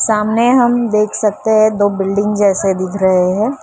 सामने हम देख सकते हैं दो बिल्डिंग जैसे दिख रहे हैं।